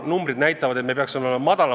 Kuulge, meie majanduskasv on praegu natuke üle 3%.